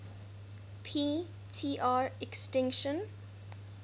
p tr extinction